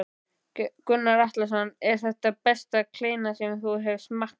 Gunnar Atli: Er þetta besta kleina sem þú hefur smakkað?